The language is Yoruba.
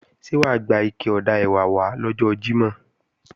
Ṣé wà á gbé ike ọ̀dà ẹ̀wà wá lọ́jọ́ Jímọ̀?